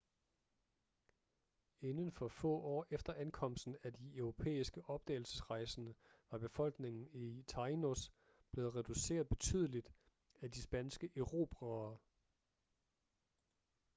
inden for få år efter ankomsten af de europæiske opdagelsesrejsende var befolkningen i tainos blevet reduceret betydeligt af de spanske erobrere